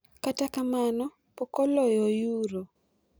Kata kamano pok oloyo Euro.